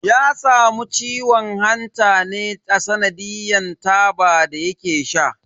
Ya samu ciwon hanta ne a tsanadiyan taba da yake sha.